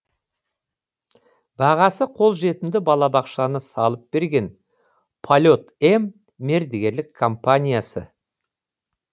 бағасы қолжетімді балабақшаны салып берген полет м мердігерлік компаниясы